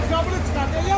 Gəlin qabağa gəlin.